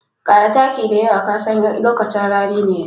Ƙara taki da yawa ka san lokacin rani ne yanzu.